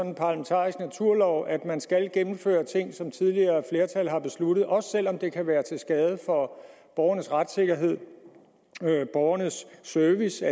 en parlamentarisk naturlov at man skal gennemføre ting som tidligere flertal har besluttet også selv om det kan være til skade for borgernes retssikkerhed og borgernes service